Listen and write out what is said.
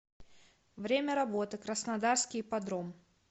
время работы краснодарский ипподром